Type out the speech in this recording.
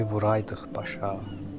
Yayı vuraydıq başa.